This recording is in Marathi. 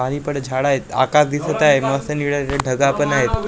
आणि झाडं आहेत आकाश दिसतं आहे मौसम निळं ढगाळ पण आहे.